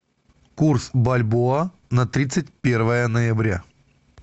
курс бальбоа на тридцать первое ноября